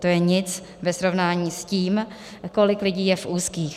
To je nic ve srovnání s tím, kolik lidí je v úzkých.